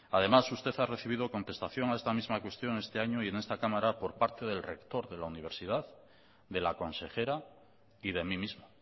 además usted ha recibido contestación a esta misma cuestión este año y en esta cámara por parte del rector de la universidad de la consejera y de mí mismo